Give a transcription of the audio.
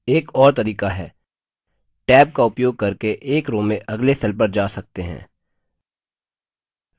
एक और तरीका है tab का उपयोग करके एक row में अगले cells पर जा सकते हैं